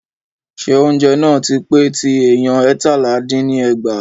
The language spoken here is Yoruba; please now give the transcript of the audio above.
Ṣé oúnjẹ náà tí pé tí èèyàn eétalá dín ní ẹgbàá?